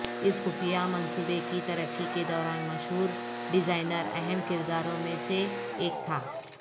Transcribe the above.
اس خفیہ منصوبے کی ترقی کے دوران مشہور ڈیزائنر اہم کرداروں میں سے ایک تھا